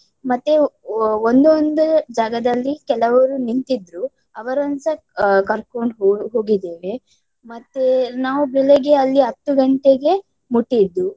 ಮತ್ತೆ ಒಂದೊಂದು ಜಾಗದಲ್ಲಿ ಕೆಲವರು ನಿಂತಿದ್ರು. ಅವರನ್ನೂಸ ಆಹ್ ಕರ್ಕೊಂಡು ಹೋ~ ಹೋಗಿದ್ದೇವೆ ಮತ್ತೆ ನಾವು ಬೆಳಗ್ಗೆ ಅಲ್ಲಿ ಹತ್ತು ಗಂಟೆಗೆ ಮುಟ್ಟಿದ್ದು.